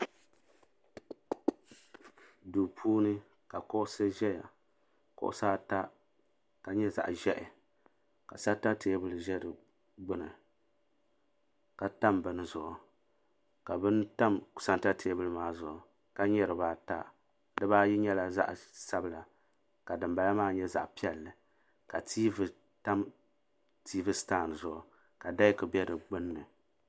Duu puuni ka kuɣusi ʒɛya kuɣusi ata ka nyɛli zaɣa ʒehi ka santa teebuli ʒe fi gbini ka tam bimi zuɣu ka bini tam santa teebuli maa zuɣu ka nyɛ dibaata dibaayi nyɛla zaɣa sabla ka dimbala nyɛ zaɣa piɛll ka tiivi tam tiivi sitandi zuɣu ka deki be di gbinni.